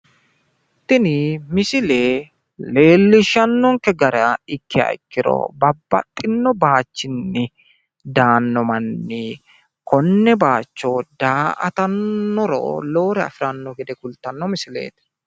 Tini misile leellishshannonkke gara ikkiha ikkiro babbaxino baayiichinni daanno manni konne baayicho daa'atiro lowore afiranno gede kulttanno misileeti.